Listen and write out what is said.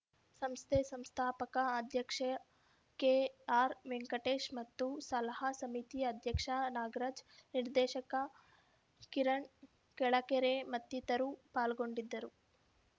ಸಂಸ್ಥೆ ಸಂಸ್ಥಾಪಕ ಅಧ್ಯಕ್ಷ ಕೆಆರ್‌ವೆಂಕಟೇಶ್‌ ಮತ್ತು ಸಲಹಾ ಸಮಿತಿ ಅಧ್ಯಕ್ಷ ನಾಗರಾಜ್‌ ನಿರ್ದೇಶಕ ಕಿರಣ್‌ ಕೆಳಕೆರೆ ಮತ್ತಿತರರು ಪಾಲ್ಗೊಂಡಿದ್ದರು